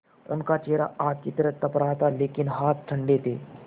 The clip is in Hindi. उनका चेहरा आग की तरह तप रहा था लेकिन हाथ ठंडे थे